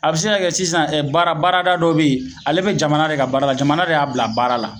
A be se ka kɛ sisan baara baarada dɔ be yen ale beɲ jamana de ka baara la jamana de y'a bila baara la